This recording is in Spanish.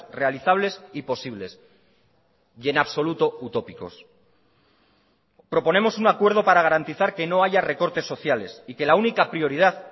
realizables y posibles y en absoluto utópicos proponemos un acuerdo para garantizar que no haya recortes sociales y que la única prioridad